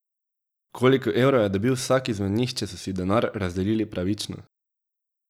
Koliko evrov je dobil vsak izmed njih, če so si denar razdelili pravično?